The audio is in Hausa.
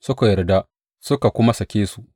Suka yarda, suka kuma sake su.